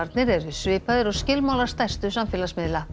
persónuverndarskilmálarnir eru svipaðir og skilmálar stærstu samfélagsmiðla